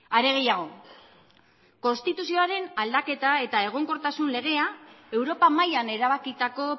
are gehiago konstituzioaren aldaketa eta egonkortasun legea europa mailan erabakitako